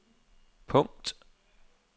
punkt